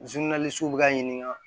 bɛ ka ɲininka